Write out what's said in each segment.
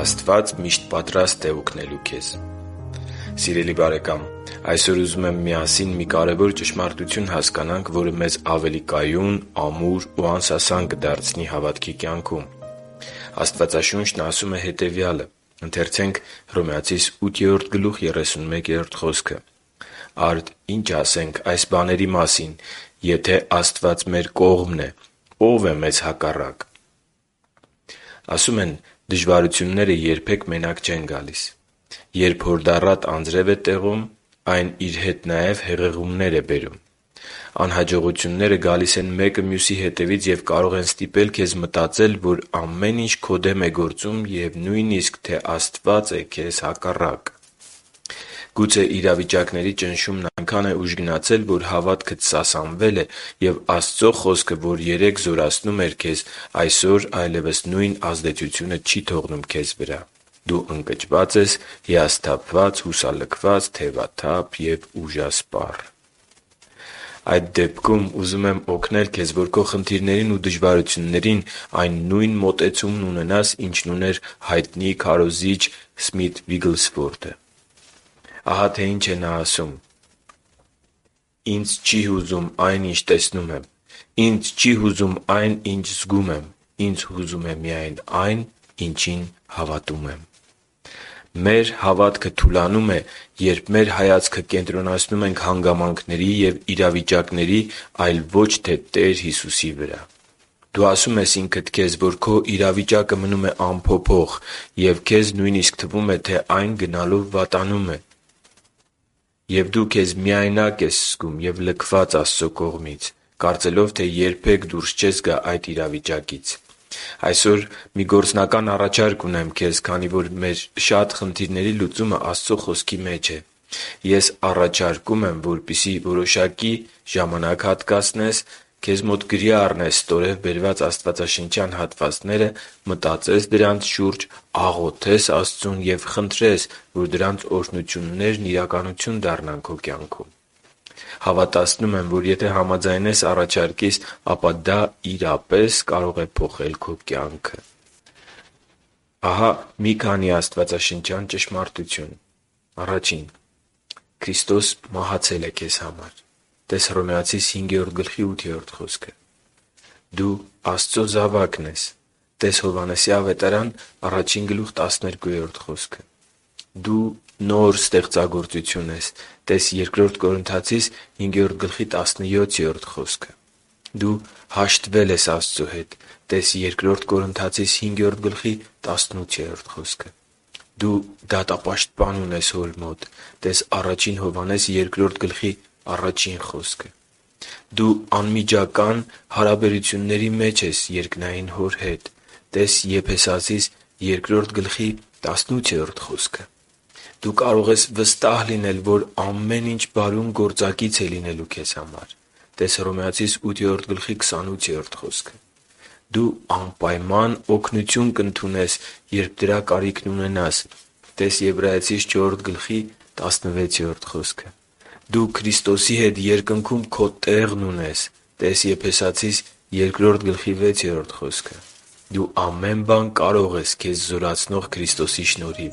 Աստված միշտ պատրաստ է օգնելու քեզ Սիրելի՛ բարեկամ, այսօր ուզում եմ միասին մի կարևոր ճշմարտություն հասկանանք, որը մեզ ավելի կայուն, ամուր ու անսասան կդարձնի։ Աստվածաշունչն ասում է հետևյալը․ «Արդ ի՞նչ ասենք այս բաների մասին. եթե Աստված մեր կողմն է, ո՞վ է մեզ հակառակ» (Հռոմեացիս 8․31)։ Ասում են՝ դժվարությունները երբեք մենակ չեն գալիս… Երբ հորդառատ անձրև է տեղում, այն իր հետ նաև հեղեղումներ է բերում: Անհաջողությունները գալիս են մեկը մյուսի հետևից և կարող են ստիպել քեզ մտածել, որ ամեն ինչ քո դեմ է գործում, և նույնիսկ, թե Աստված է քեզ հակառակ: Գուցե իրավիճակների ճնշումը այնքան է ուժգնացել, որ հավատքդ սասանվել է, և Աստծո Խոսքը, որ երեկ զորացնում էր քեզ, այսօր այլևս նույն ազդեցությունը չի թողնում քո վրա: Դու ընկճված ես, հիասթափված, հուսալքված, թևաթափ և ուժասպառ․․․ Այդ դեպքում ուզում եմ օգնել քեզ, որ քո խնդիրներին ու դժվարություններին այն նույն մոտեցումն ունենաս, ինչն ուներ հայտնի քարոզիչ Սմիթ Վիգլսվորդը։ Ահա թե ինչ է նա ասում. «Ինձ չի հուզում այն, ինչ տեսնում եմ: Ինձ չի հուզում այն, ինչ զգում եմ։ Ինձ հուզում է միայն այն, ինչին հավատում եմ»։ Մեր հավատքը թուլանում է, երբ մեր հայացքը կենտրոնացնում ենք հանգամանքների և իրավիճակների, այլ ոչ թե Տեր Հիսուսի վրա: Դու ասում ես ինքդ քեզ, որ քո իրավիճակը մնում է անփոփոխ, և քեզ նույնիսկ թվում է, թե այն գնալով վատանում է: Եվ դու քեզ միայնակ ես զգում և լքված Աստծո կողմից՝ կարծելով, թե երբեք դուրս չես գա այդ իրավիճակից: Այսօր մի գործնական առաջարկ ունեմ քեզ։ Քանի որ մեր շատ խնդիրների լուծումը Աստծո Խոսքի մեջ է, ես առաջարկում եմ, որպեսզի որոշակի ժամանակ հատկացնես, քեզ մոտ գրի առնես ստորև բերված աստվածաշնչյան հատվածները, մտածես դրանց շուրջ, աղոթես Աստծուն և խնդրես, որ դրանց օրհնություններն իրականություն դառնան քո կյանքում։ Հավատացնում եմ, որ եթե համաձայնես առաջարկիս, ապա դա իրապես կարող է փոխել քո կյանքը։ Քրիստոսը մահացել է քեզ համար: (տես Հռովմայեցիս 5.8) Դու Աստծո զավակն ես: (տես Հովհաննես 1.12) Դու նոր ստեղծագործություն ես: (տես Բ Կորնթացիս 5.17) Դու հաշտվել ես Աստծո հետ: (տես Բ Կորնթացիս 5.18) Դու դատապաշտպան ունես Հոր մոտ: (տես Ա Հովհաննես 2.1) Դու անմիջական հարաբերությունների մեջ ես Հոր հետ: (տես Եփեսացիս 2.18) Դու կարող ես վստահ լինել, որ ամեն ինչ բարուն գործակից է լինելու: (տես Հռոմայեցիս 8.28) Դու անպայման օգնություն կընդունես, երբ դրա կարիքն ունենաս: (տես Եբրայեցիս 4.16) Դու Քրիստոսի հետ երկնքում քո տեղն ունես: (տես Եփեսացիս 2.6) Դու ամեն բան կարող ես քեզ զորացնող Քրիստոսի շնորհիվ: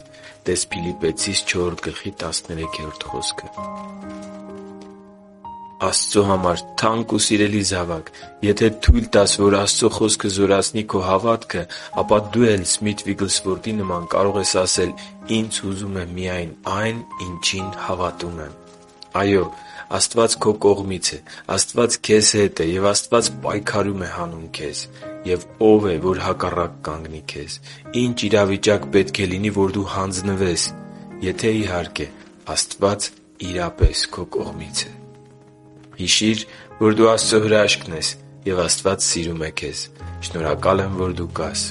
(տես Փիլիպպեցիս 4.13) Աստծո համար թանկ ու սիրելի՛ զավակ, եթե թույլ տաս, որ Աստծո Խոսքը զորացնի քո հավատքը, ապա դու էլ Սմիթ Վիգլսվորդի նման կկարողանաս ասել. «Ինձ հուզում է միայն այն, ինչին հավատում եմ»: Այո՛, Աստված քո կողմից է, Աստված քեզ հետ է, և Աստված պայքարում է հանուն քեզ: Եվ ո՞վ է, որ հակառակ կանգնի քեզ․․․ ի՞նչ իրավիճակ պետք է լինի, որ դու հանձնվես, եթե, իհարկե, Աստված քո կողմից է․․․ Հիշի՛ր, որ դու Աստծո հրաշքն ես, և Աստված սիրում է քեզ։ Շնորհակալ եմ, որ դու կա՛ս